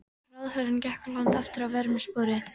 Ráðherrann gekk á land aftur að vörmu spori.